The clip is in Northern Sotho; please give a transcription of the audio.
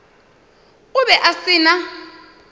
o be a se na